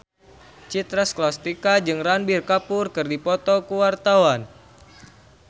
Citra Scholastika jeung Ranbir Kapoor keur dipoto ku wartawan